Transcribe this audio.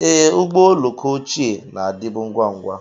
Ee, ụgbọ oloko ochie na-adịbu ngwa ngwa.